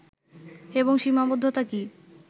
এবং সীমাবদ্ধতা কি